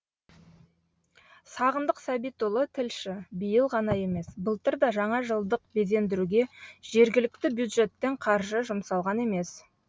сағындық сәбитұлы тілші биыл ғана емес былтыр да жаңажылдық безендіруге жергілікті бюджеттен қаржы жұмсалған емес